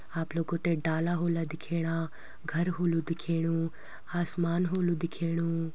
आप लोगो थें डाला होला दिख्येणा घर होलु दिख्येणू आसाम होलु दिख्येणू।